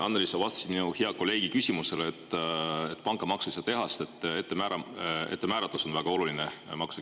Annely, sa vastasid minu hea kolleegi küsimusele, et pangamaksu ei saa teha, sest maksukeskkonna ettemääratus on väga oluline.